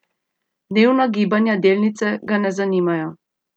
Dnevna gibanja delnice ga ne zanimajo.